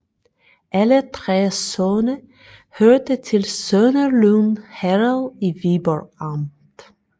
Alle 3 sogne hørte til Sønderlyng Herred i Viborg Amt